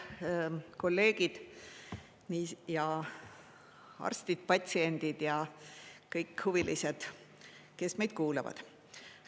Head kolleegid ja arstid, patsiendid ja kõik huvilised, kes meid kuulavad!